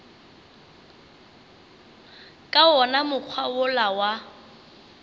ka wona mokgwa wola wa